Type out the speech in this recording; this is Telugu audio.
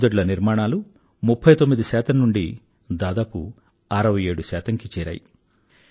మరుగుదొడ్ల నిర్మాణాలు 39 నుండి దాదాపు 67 కి చేరాయి